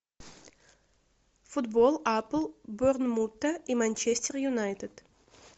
футбол апл борнмута и манчестер юнайтед